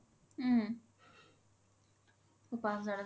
উম পাচ হাজাৰ